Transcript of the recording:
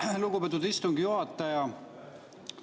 Aitäh, lugupeetud istungi juhataja!